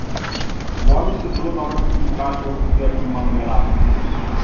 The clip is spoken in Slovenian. V vodi se zelo dobro topi kalijev permanganat.